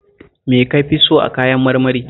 Me ka fi so a kayan marmari?